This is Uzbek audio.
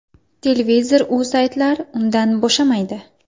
Televizor-u saytlar undan bo‘shamaydi.